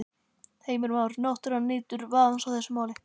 Heimir Már: Náttúran nýtur vafans í þessu máli?